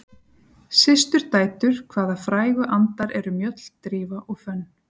Systurdætur hvaða frægu andar eru Mjöll, Drífa og Fönn?